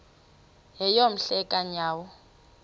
yeyom hle kanyawo